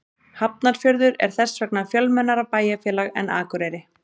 Hafnarfjörður er þess vegna fjölmennara bæjarfélag en Akureyri.